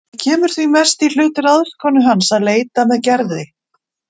Það kemur því mest í hlut ráðskonu hans að leita með Gerði.